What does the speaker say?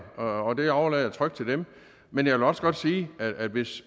og det overlader jeg trygt til dem men jeg vil også godt sige at hvis